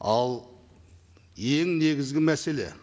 ал ең негізгі мәселе